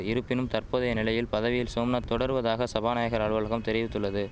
இருப்பினும் தற்போதைய நிலையில் பதவியில் சோம்நாத் தொடர்வதாக சபாநாயகர் அலுவலகம் தெரிவித்துள்ளது